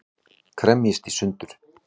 Kremjist í sundur.